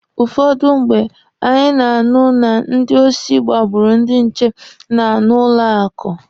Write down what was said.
Ụfọdụ mgbe, anyị na-anụ na ndị osi gbagburu ndị nche na n'ụlọ akụ